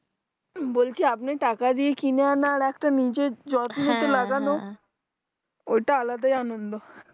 বলছি আপনি টাকা দিয়ে কিনে আনা আর একটা নিজের যত্নতে হ্যাঁ লাগানো ওটাই আলাদা আনন্দ